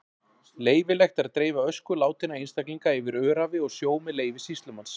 Leyfilegt er að dreifa ösku látinna einstaklinga yfir öræfi og sjó með leyfi sýslumanns.